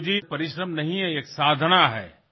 ৰিপু জী এয়া পৰিশ্ৰম নহয় এয়া এক সাধনা